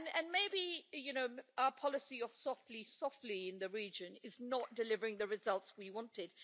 Maybe our policy of softly softly in the region is not delivering the results we wanted.